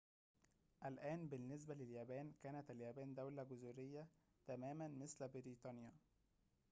الآن بالنسبة لليابان كانت اليابان دولةً جزريةً تماماً مثل بريطانيا